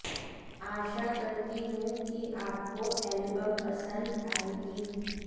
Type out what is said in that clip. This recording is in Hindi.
आशा करती हूं कि आपको एलबम पसंद आएगी